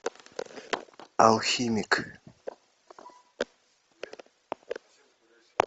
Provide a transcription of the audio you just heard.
алхимик